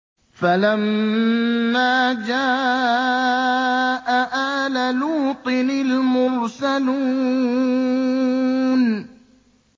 فَلَمَّا جَاءَ آلَ لُوطٍ الْمُرْسَلُونَ